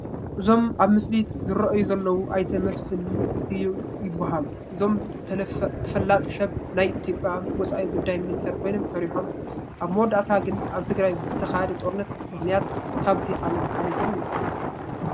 እዞም ኣብ ምስሊ ዝርአዩ ዘለዉ ኣይተ ስዩም መስፍን ይበሃሉ፡፡ እዞም ተፈላጢ ሰብ ናይ ኢትዮጵያ ወፃኢ ጉዳይ ሚኒስተር ኮይኖም ሰሪሖም፡፡ ኣብ መወዳእታ ግን ኣብ ትግራይ ብዝተኻየደ ጦርነት ምኽንያት ካብዚ ዓለም ሓሊፎም እዮም፡፡